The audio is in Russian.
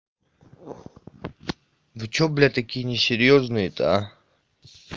ну что блять такие несерьёзные то а